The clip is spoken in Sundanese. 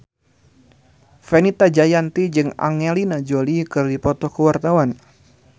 Fenita Jayanti jeung Angelina Jolie keur dipoto ku wartawan